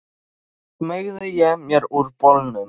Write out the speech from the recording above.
Svo smeygði ég mér úr bolnum.